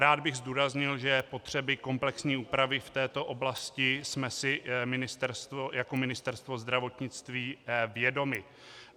Rád bych zdůraznil, že potřeby komplexní úpravy v této oblasti jsme si jako Ministerstvo zdravotnictví vědomi.